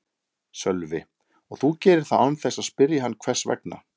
Sölvi: Og þú gerir það án þess að spyrja hann hvers vegna?